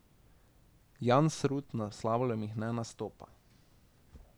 Jansrud na slalomih ne nastopa.